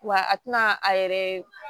Wa a tɛna a yɛrɛ